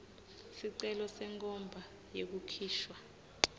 sicelo senkhomba yekukhishwa